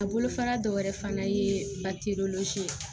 A bolofara dɔ wɛrɛ fana ye ye